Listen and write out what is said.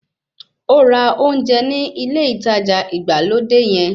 Ó ra ounjẹ ní ilé ìtajà ìgbàlódé yẹn